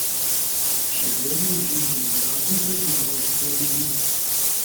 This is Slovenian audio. Še vedno uživam igrati pred množico ljudi.